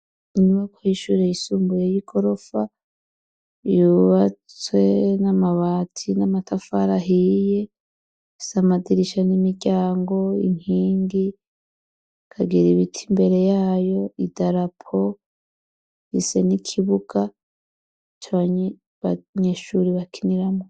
Inybako hishure yisumbuyeyoi gorofa yubatswe n'amabatsi n'amatafarahiye sa amadirisha n'imiryango inkingi kagira ibiti imbere yayo i darapo rise n'ikibuka canbanyeshurirwa akinyiramo.